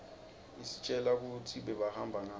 istjela kutsi bebahamba ngani